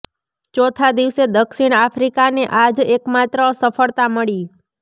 ચોથા દિવસે દક્ષિણ આફ્રિકાને આ જ એકમાત્ર સફળતા મળી